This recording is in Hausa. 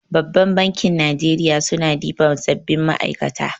Babbar bankin Najeriya suna ɗiban sabbin ma'aikata.